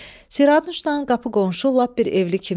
Siranuşdan qapı-qonşu lap bir evli kimiydi.